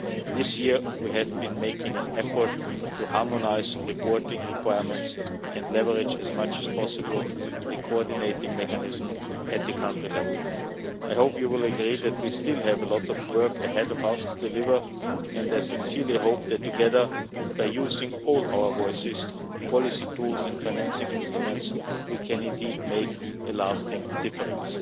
This year we have been making an effort to harmonise reporting requirements and leverage as much as possible the coordinating mechanism at the country level. I hope you will agree that we still have a lot of work ahead of us to deliver and I sincerely hope that together, by using all our voices, policy tools and financing instruments, we can indeed make a lasting difference.